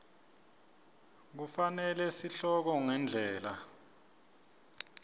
kufanele sihloko ngendlela